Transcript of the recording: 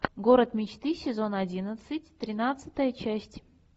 город мечты сезон одиннадцать тринадцатая часть